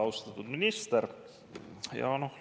Austatud minister!